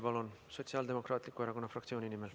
Jaak Juske Sotsiaaldemokraatliku Erakonna fraktsiooni nimel.